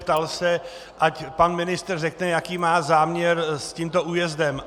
Ptal se, ať pan ministr řekne, jaký má záměr s tímto újezdem.